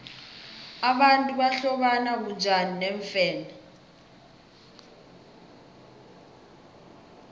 abantu bahlobana bunjani neemfene